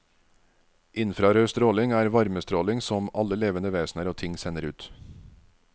Infrarødstråling er varmestråling som alle levende vesner og ting sender ut.